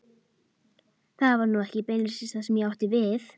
Það var nú ekki beinlínis það sem ég átti við.